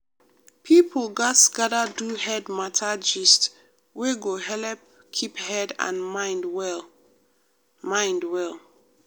people gatz gather do head matter gist wey go helep keep head and mind well. mind well.